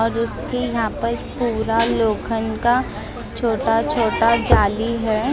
और उसके यहां पर पूरा लोखंड का छोटा छोटा जाली है।